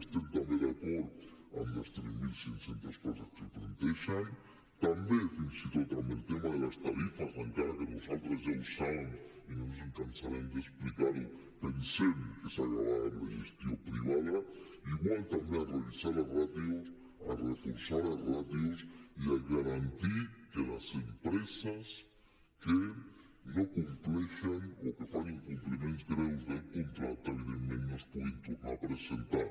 estem també d’acord amb les tres mil cinc cents places que plantegen també fins i tot amb el tema de les tarifes encara que nosaltres ja ho saben i no ens cansarem d’explicar ho pensem que s’ha d’acabar amb la gestió privada igual també amb revisar les ràtios amb reforçar les ràtios i amb garantir que les empreses que no compleixen o que fan incompliments greus del contracte evidentment no es puguin tornar a presentar